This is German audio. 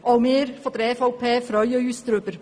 Auch wir von der EVP freuen uns darüber.